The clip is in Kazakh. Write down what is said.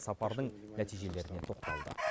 сапардың нәтижелеріне тоқталды